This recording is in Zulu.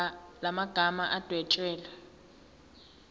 la magama adwetshelwe